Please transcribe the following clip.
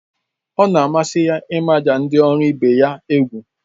Ọ na-amasị ya ịmaja ndị ọrụ ibe ya egwu